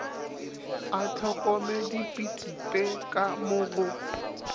a hlokomedipitpe ka mo go